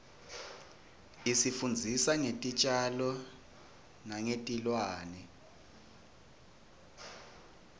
isifundzisa ngetitjalo nengetilwane